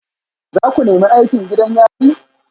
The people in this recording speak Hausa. Za ku nemi aikin gidan yari?